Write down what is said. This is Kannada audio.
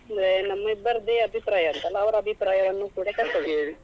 ಅಂದ್ರೆ ನಮ್ಮಿಬ್ಬರದೆ ಅಭಿಪ್ರಾಯ ಅಂತಲ್ಲ ಅವರ ಅಭಿಪ್ರಾಯವನ್ನು ಕೂಡ ತಕ್ಕೊಳ್ಳುವ.